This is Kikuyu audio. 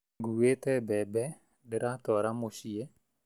Nguĩte mbembe, ndĩratwara mũciĩ